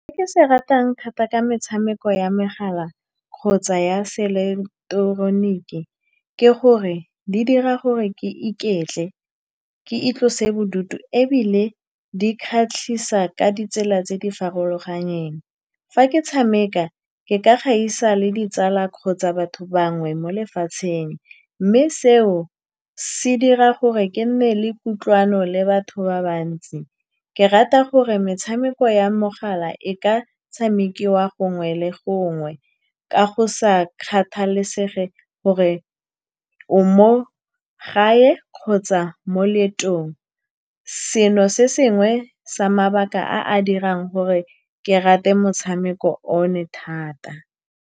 Se ke se ratang thata ka metshameko ya megala kgotsa ya seileketeroniki ke gore di dira gore ke iketle, ke itlose bodutu, ebile di kgatlhisa ka ditsela tse di farologaneng. Fa ke tshameka, ke ka gaisa le ditsala kgotsa batho bangwe mo lefatsheng, mme seo se dira gore ke nne le kutlwano le batho ba bantsi. Ke rata gore metshameko ya mogala e ka tshamekiwa gongwe le gongwe, ka go sa kgathalesege gore o mo gae kgotsa mo leetong. Seno ke se sengwe sa mabaka a a dirang gore ke rate motshameko one thata.